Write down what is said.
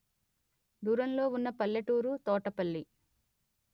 దూరంలో వున్న పల్లెటూరు తోటపల్లి